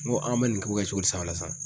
N ko an bɛ nin ko kɛ cogo di sisan ola san?